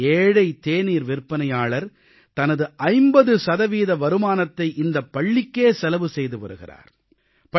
ஒரு ஏழை தேநீர் விற்பனையாளர் தனது 50 சதவீத வருமானத்தை இந்தப் பள்ளிக்கே செலவு செய்து வருகிறார்